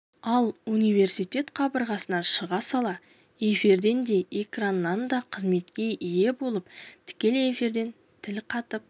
ал университет қабырғасынан шыға сала эфирден де экраннан да қызметке ие болып тікелей эфирден тіл қатып